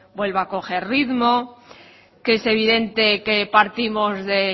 vuelva a coger ritmo que es evidente que partimos de